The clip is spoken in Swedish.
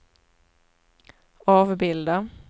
avbilda